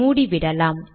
மூடிவிடலாம்